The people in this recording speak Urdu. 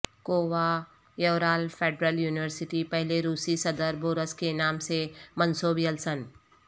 کوہ یورال فیڈرل یونیورسٹی پہلے روسی صدر بورس کے نام سے منسوب یلسن